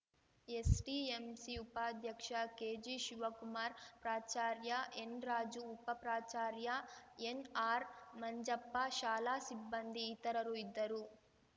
SDMC ಉಪಾಧ್ಯಕ್ಷ ಕೆಜಿಶಿವಕುಮಾರ್ ಪ್ರಾಚಾರ್ಯ ಎನ್‌ರಾಜು ಉಪ ಪ್ರಾಚಾರ್ಯ ಎನ್ಆರ್‌ಮಂಜಪ್ಪ ಶಾಲಾ ಸಿಬ್ಬಂದಿ ಇತರರು ಇದ್ದರು